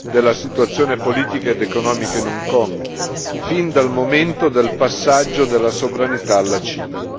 della situazione politica ed economica in Hong Kong, fin dal momento del passaggio della sovranità alla Cina.